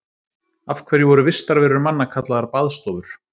af hverju voru vistarverur manna kallaðar baðstofur